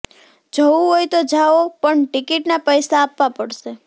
જવું હોય તો જાઓ પણ ટિકિટના પૈસા આપવા પડશે